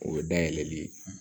O ye dayɛlɛli ye